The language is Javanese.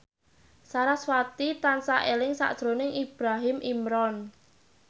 sarasvati tansah eling sakjroning Ibrahim Imran